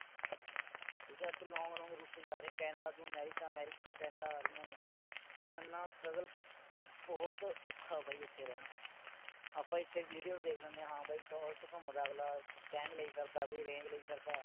ਠੀਕ ਆ ਤੇ long long root ਤੇ ਜਾ ਰਹੇ ਨੇ ਕੈਨੇਡਾ ਤੋਂ ਅਮੇਰਿਕਾ, ਅਮੇਰਿਕਾ ਤੋਂ ਕੈਨੇਡਾ ਆ ਰਹੀਆਂ ਨੇ। ਇੰਨਾ struggle ਤੇ ਬੋਹੋਤ ਔਖਾ ਬਈ ਓਥੇ ਰਹਿਣਾ। ਅੱਪਾ ਇਥੇ videos ਦੇਖ ਲੈਂਦੇ ਆ ਹਾਂ ਬਈ ਟੌਰ ਚ ਘੁੰਮਦਾ ਅਗਲਾ mustang ਲਈ ਫਿਰਦਾ ਕੋਈ range ਲਈ ਫਿਰਦਾ।